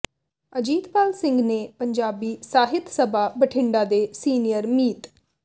ਅਜੀਤਪਾਲ ਸਿੰਘ ਨੇ ਪੰਜਾਬੀ ਸਾਹਿਤ ਸਭਾ ਬਠਿੰਡਾ ਦੇ ਸੀਨੀਅਰ ਮੀਤ